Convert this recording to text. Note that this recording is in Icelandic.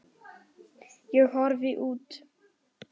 Ég horfi út.